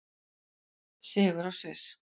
Sigur á Sviss